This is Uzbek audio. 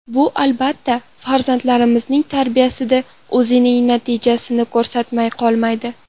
Bu albatta, farzandlarimizning tarbiyasida o‘zining natijasini ko‘rsatmay qolmaydi.